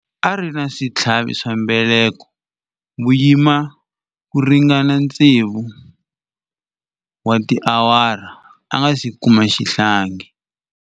A ri na switlhavi swa mbeleko vuyimani ku ringana tsevu wa tiawara a nga si kuma xihlangi.